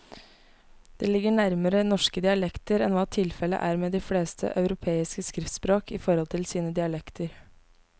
Det ligger nærmere norske dialekter enn hva tilfellet er med de fleste europeiske skriftspråk i forhold til sine dialekter.